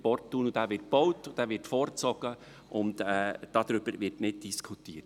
der Porttunnel wird gebaut, er wird vorgezogen, darüber wird nicht diskutiert.